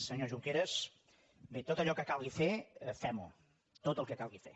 senyor junqueras bé tot allò que calgui fer fem ho tot el que calgui fer